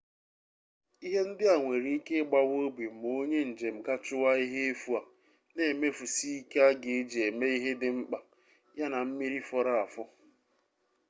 ihe ndị a nwere ike ịgbawa obi ma onye njem gaa chụwa ihe efu a na-emefusi ike a ga-eji eme ihe dị mkpa ya na mmiri fọrọ afọ